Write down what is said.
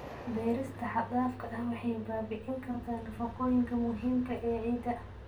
Beerista xad-dhaafka ah waxay baabi'in kartaa nafaqooyinka muhiimka ah ee ciidda.